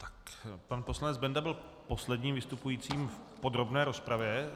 Tak, pan poslanec Benda byl posledním vystupujícím v podrobné rozpravě.